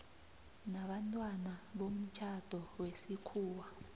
nabantwana bomtjhado wesikhuwa